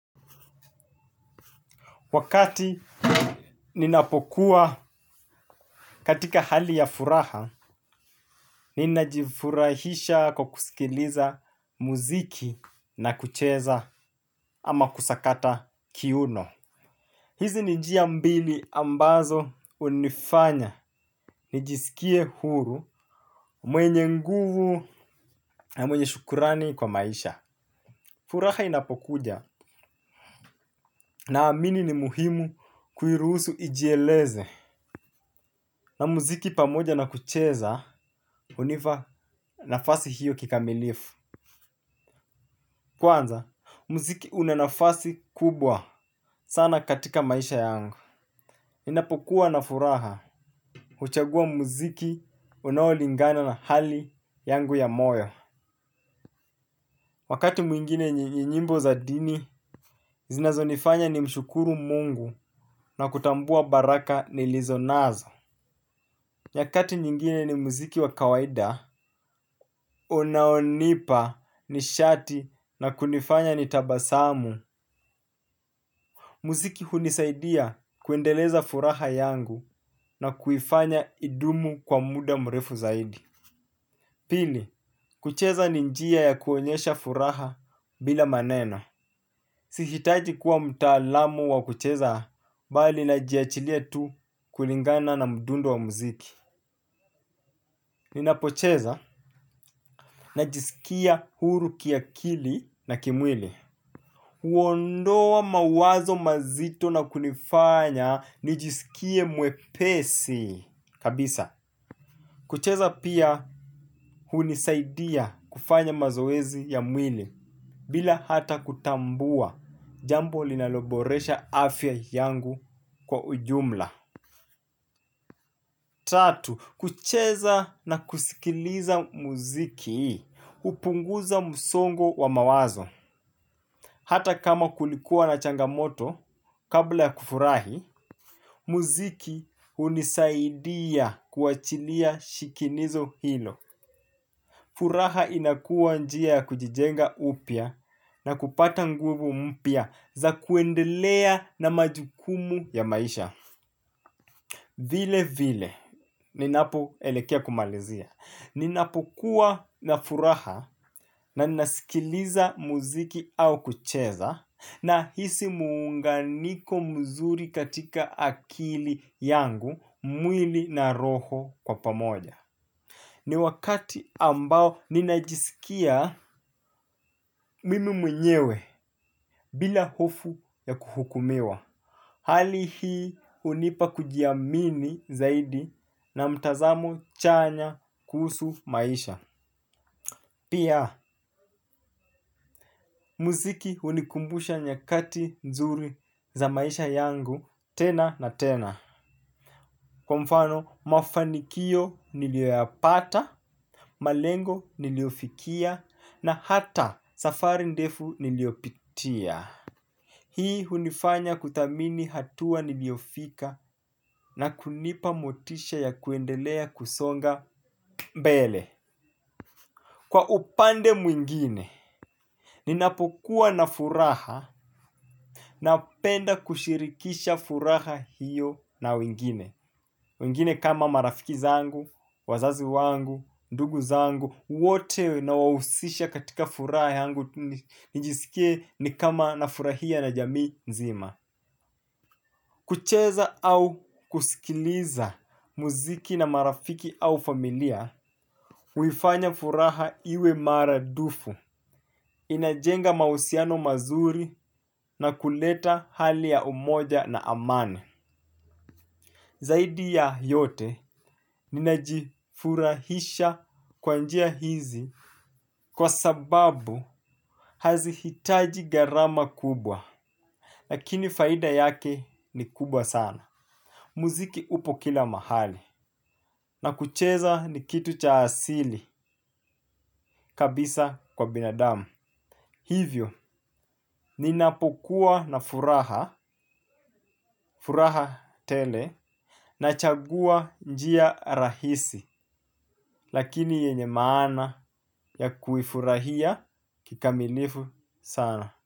Wakati ninapokuwa katika hali ya furaha, ninajifurahisha kwa kusikiliza muziki na kucheza ama kusakata kiuno. Hizi ni njia mbili ambazo hunifanya, nijisikie huru, mwenye nguvu na mwenye shukurani kwa maisha. Furaha inapokuja naamini ni muhimu kuiruhusu ijieleze na muziki pamoja na kucheza hunipa nafasi hiyo kikamilifu. Kwanza, muziki una nafasi kubwa sana katika maisha yangu. Ninapokuwa na furaha, huchagua muziki unaolingana na hali yangu ya moyo. Wakati mwingine nyimbo za dini, zinazonifanya nimshukuru mungu na kutambua baraka nilizo nazo. Nyakati nyingine ni muziki wa kawaida, unaonipa nishati na kunifanya nitabasamu. Muziki hunisaidia kuendeleza furaha yangu na kuifanya idumu kwa muda mrefu zaidi. Pili, kucheza ni njia ya kuonyesha furaha bila maneno. Sihitaji kuwa mtaalamu wa kucheza, bali najiwachilia tu kulingana na mdundo wa muziki. Ninapocheza najisikia huru kiakili na kimwili huondoa mawazo mazito na kunifanya nijisikie mwepesi kabisa kucheza pia hunisaidia kufanya mazoezi ya mwili bila hata kutambua jambo linaloboresha afya yangu kwa ujumla. Tatu, kucheza na kusikiliza muziki hupunguza msongo wa mawazo hata kama kulikuwa na changamoto kabla ya kufurahi. Muziki hunisaidia kuwachilia shinikizo hilo. Furaha inakuwa njia ya kujijenga upya na kupata nguvu mpya za kuendelea na majukumu ya maisha. Vile vile ninapoelekea kumalizia ninapokuwa na furaha na ninasikiliza muziki au kucheza. Nahisi muunganiko mzuri katika akili yangu. Mwili na roho kwa pamoja. Ni wakati ambao ninajisikia mimi mwenyewe. Bila hofu ya kuhukumiwa. Hali hii hunipa kujiamini zaidi na mtazamo chanya kuhusu maisha. Pia, muziki hunikumbusha nyakati nzuri za maisha yangu tena na tena. Kwa mfano, mafanikio nilioyapata, malengo niliyofikia, na hata safari ndefu niliyopitia. Hii hunifanya kuthamini hatua niliyofika na kunipa motisha ya kuendelea kusonga mbele. Kwa upande mwingine, ninapokuwa na furaha napenda kushirikisha furaha hiyo na wengine. Wengine kama marafiki zangu, wazazi wangu, ndugu zangu, wote nawahusisha katika furaha yangu nijisikie ni kama nafurahia na jamii nzima. Kucheza au kusikiliza muziki na marafiki au familia, huifanya furaha iwe mara dufu. Inajenga mahusiano mazuri na kuleta hali ya umoja na amani. Zaidi ya yote ninajifurahisha kwa njia hizi kwa sababu hazihitaji gharama kubwa. Lakini faida yake ni kubwa sana. Muziki upo kila mahali na kucheza ni kitu cha asili kabisa kwa binadamu. Hivyo, ninapokuwa na furaha, furaha tele, nachagua njia rahisi, lakini yenye maana ya kuifurahia kikamilifu sana.